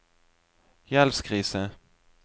gjeldskrise